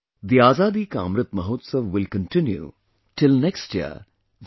The Azadi Ka Amrit Mahotsav will continue till next year i